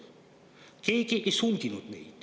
Keegi meid ei sundinud.